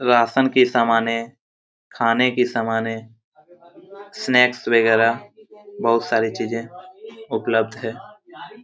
Ration की सामाने खाने की समान स्नैक्स वागेरा बहुत सारी चीजे उपलब्ध है।